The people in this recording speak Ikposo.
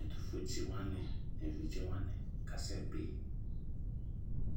Ɛtʋfuetsi wani nʋ evidze wani kasɛ bi